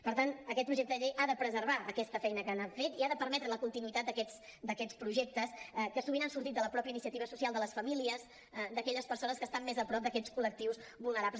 per tant aquest projecte de llei ha de preservar aquesta feina que han fet i ha de permetre la continuïtat d’aquests projectes que sovint han sortit de la mateixa iniciativa social de les famílies d’aquelles persones que estan més a prop d’aquests col·lectius vulnerables